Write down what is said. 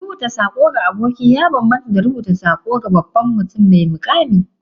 Rubuta sako ga aboki ya bambanta da rubuta sako ga babban mutum mai muƙami.